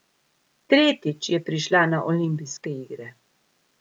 Tretjič je prišla na olimpijske igre.